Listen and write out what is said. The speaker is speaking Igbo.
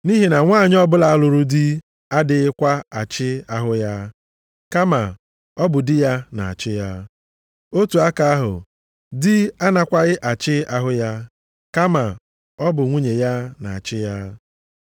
Nʼihi na nwanyị ọbụla lụrụ di adịghịkwa achị ahụ ya, kama ọ bụ di ya na-achị ya. Otu aka ahụ, di anakwaghị achị ahụ ya, kama ọ bụ nwunye ya na-achị ya.